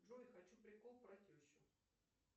джой хочу прикол про тещу